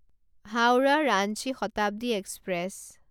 Howrah Ranchi Shatabdi express